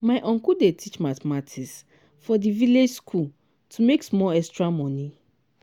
my uncle dey teach mathematics for di village school to make small extra moni.